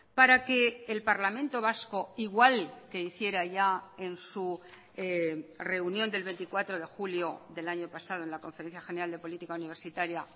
para que el parlamento vasco igual que hiciera ya en su reunión del veinticuatro de julio del año pasado en la conferencia general de política universitaria